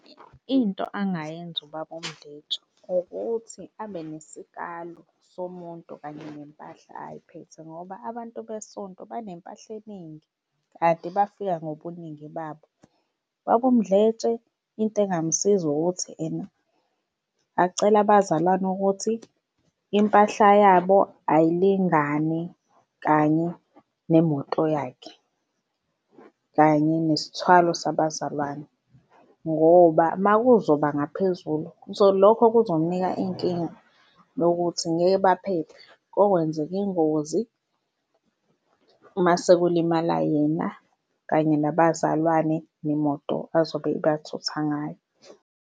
Into angayenza ubaba uMdletshe ukuthi abe nesikalo somuntu kanye nempahla ayiphethe ngoba abantu besonto banempahla eningi kanti bafika ngobuningi babo. Ubaba uMdletshe into engamsiza ukuthi ena acele abazalwane ukuthi impahla yabo ayilingane kanye nemoto yakhe kanye nesithwalo sabazalwane, ngoba uma kuzoba ngaphezulu lokho kuzomnika inkinga yokuthi ngeke baphephe, kokwenzeka ingozi mase kulimala yena kanye nabazalwane nemoto azobe ebathutha ngayo.